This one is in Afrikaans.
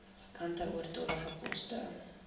vakante oortollige poste